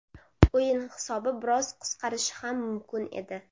O‘yin hisobi biroz qisqarishi ham mumkin edi.